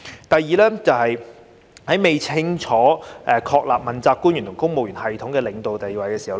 第二，是未清楚確立問責官員和公務員系統的領導地位。